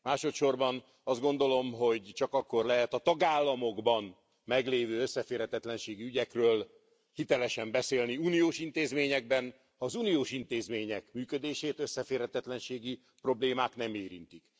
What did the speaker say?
Másodsorban azt gondolom, hogy csak akkor lehet a tagállamokban meglévő összeférhetetlenségi ügyekről hitelesen beszélni uniós intézményekben, ha az uniós intézmények működését összeférhetetlenségi problémák nem érintik.